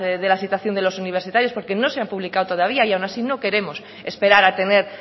de la situación de los universitarios porque no se han publicado todavía y aun así no queremos esperar a tener